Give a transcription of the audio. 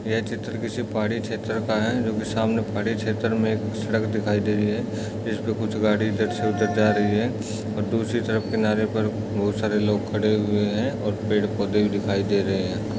यह चित्र किसी पहाड़ी क्षेत्र का है जो कि सामने पहाड़ी क्षेत्र में एक सड़क दिखाई दे रही है इस पर कुछ गाडी इधर से उधर जा रही है और दूसरी तरफ किनारे पर बहुत सारे लोग खड़े हुए हैं और पेड़ पौधे दिखाई दे रहे हैं।